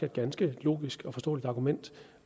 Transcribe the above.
ganske logisk og forståeligt argument